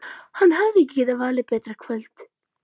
Hann hefði ekki getað valið betra kvöld.